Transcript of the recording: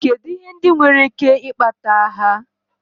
Kedụ ihe ndị nwere ike ikpata agha.